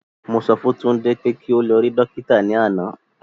Mo sọ fún Tunde pé kí o lọ rí Dókítà ní àná